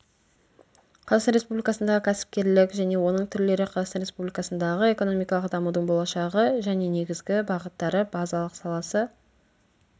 қазақстан республикасындағы кәсіпкерлік және оның түрлері қазақстан республикасындағы экономикалық дамудың болашағы және негізгі бағыттары базалық саласы